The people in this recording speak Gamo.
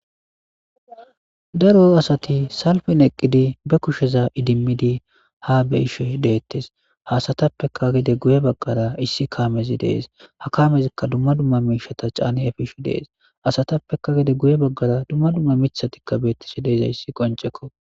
daro asati salfin eqqidi be kusheza idimmidi ha beishe deettes haasatappeka gede guye baggara issi kamezi dees ha kamezikka dumma dumma miishata caani efishu dees asatappeka gede guye baggara dumma dumma micthatikka beettisi deizayssi qoncekko